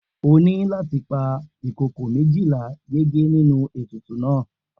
O óò ní láti pa ìkokò méjì láti yege nínú ètùtù náà!